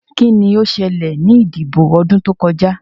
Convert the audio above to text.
Kí ni ó ṣẹlẹ̀ ní ìdìbò ọdún tó kọjá?